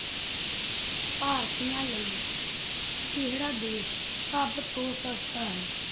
ਭਾਰਤੀਆਂ ਲਈ ਕਿਹੜਾ ਦੇਸ ਸਭ ਤੋਂ ਸਸਤਾ ਹੈ?